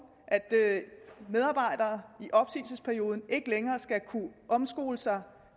at medarbejdere i opsigelsesperioden ikke længere skal kunne omskole sig